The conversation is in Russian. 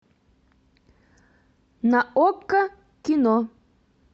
на окко кино